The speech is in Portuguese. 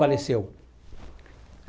Faleceu.